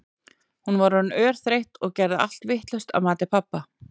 Hún var orðin örþreytt og gerði allt vitlaust að mati pabba.